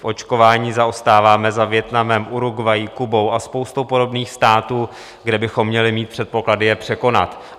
V očkování zaostáváme za Vietnamem, Uruguayí, Kubou a spoustou podobných států, kde bychom měli mít předpoklady je překonat.